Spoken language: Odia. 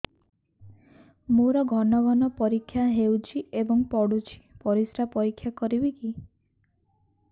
ମୋର ଘନ ଘନ ପରିସ୍ରା ହେଉଛି ଏବଂ ପଡ଼ୁଛି ପରିସ୍ରା ପରୀକ୍ଷା କରିବିକି